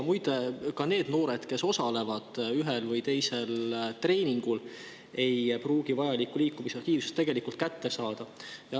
Muide, ka need noored, kes osalevad ühel või teisel treeningul, ei pruugi vajalikku liikumisaktiivsust tegelikult kätte saada.